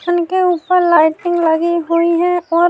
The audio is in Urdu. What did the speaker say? انکے اپر لیٹن لگی ہی ہے، اور